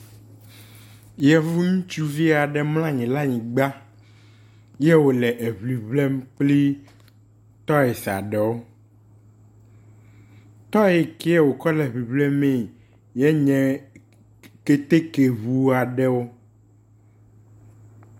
Yevu ŋutsuvi aɖe mlɔ anyi ɖe anyigba ye wo le eŋiŋlem kple tɔisi aɖewo. Tɔyi ke wokɔ le eŋiŋlemee ye nye keteke ŋu aɖewo.